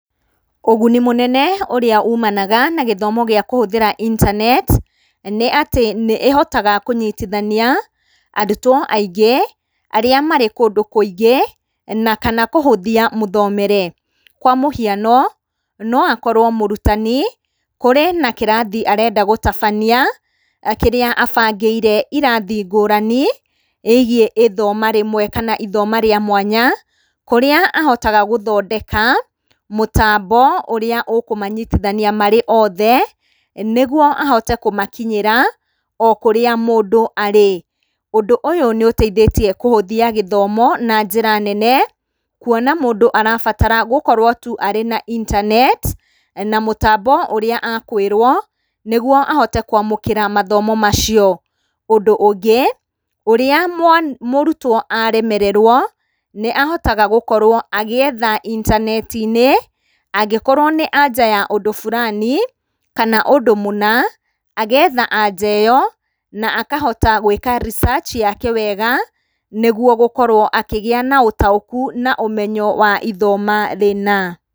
Ũguni mũnene ũrĩa umanaga na gĩthomo gĩa kũhũthĩra intaneti nĩ atĩ nĩ ĩhotaga kũnyitithania arutwo aingĩ arĩa marĩ kũndu kũingĩ, na kana kũhũthia mũthomere. Kwa mũhiano no akorwo mũrutani kũrĩ na kĩrathi arenda gũtabania kĩrĩa abangĩire irathi ngũrani ĩgiĩ ĩthoma rĩmwe kana ithoma rĩa mwanya kũrĩa ahotaga gũthondeka mũtambo ũrĩa ũkũmanyithania marĩ othe nĩguo ahote kũmakinyĩra o kũrĩa mũndũ arĩ. Ũndũ ũyũ nĩ ũteithĩtie kũhũthia gĩthomo na njĩra nene kuona mũndũ arabatara gũkorwo tu arĩ na intaneti na mũtambo ũrĩa akwĩrwo nĩguo ahote kwamũkĩra mathomo macio. Ũndũ ũngĩ, ũrĩa mũrutwo aremererwo nĩ ahotaga gũkorwo agĩetha intaneti-inĩ angĩkorwo na anja ya ũndũ burani kana ũndũ mũna, agetha anja ĩyo na akahota gwĩka research yake wega nĩguo gũkorwo akĩgĩa na ũtaũku na ũmenyo wa ithoma rĩna.